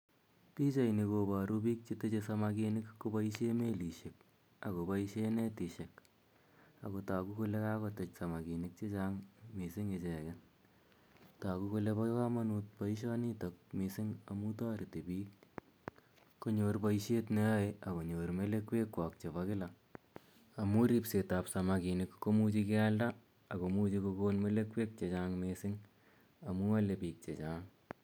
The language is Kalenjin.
Pichaini koparu piik che teche samakini kopaishe melishek ako paishe netishek. Ako tagu kole kakotech samakinik che chang' missing' icheget. Tagu kole pa kamanut poishonitok missing' amu tareti piik konyor poishet ne yae ak konyor melekwekwak chepo kila. Amu ripset ap samakinik ko muchi kealda ak komucji kokon melekwek che chang' missing' ako amu ale piik che chang'.